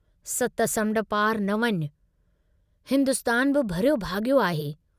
सत समुण्ड पार न वञ, हिन्दुस्तान बि भरियो भागयो आहे।